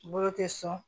Bolo tɛ sɔn